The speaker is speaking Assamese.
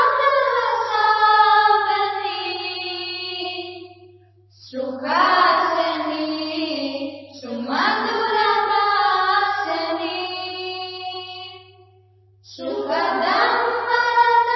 মই নিশ্চিত যে আপুনি এইটো শুনি অতি সুখী হৈছে গৌৰৱ অনুভৱ কৰিছে